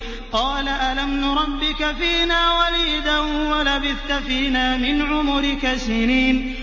قَالَ أَلَمْ نُرَبِّكَ فِينَا وَلِيدًا وَلَبِثْتَ فِينَا مِنْ عُمُرِكَ سِنِينَ